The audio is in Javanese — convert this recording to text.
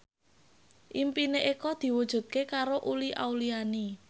impine Eko diwujudke karo Uli Auliani